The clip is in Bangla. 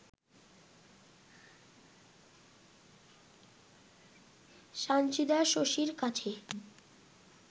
সানজিদা শশীর কাছে